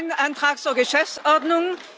Das ist kein Antrag zur Geschäftsordnung.